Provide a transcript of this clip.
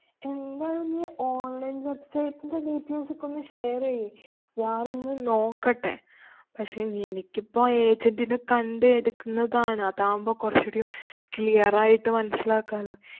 എന്തായാലും നീ online website ന്‍റെ details ഒക്കെ ഒന്ന് share ചെയ്യ്. ഞാനൊന്നു നോക്കട്ടെ. പക്ഷേ, ഇനി എനിക്കിപ്പോ agent നെ കണ്ട് എടുക്കുന്നതാണ്. അതാവുമ്പം കൊറച്ചു കൂടീം clear ആയിട്ട് മനസിലാക്കാലോ.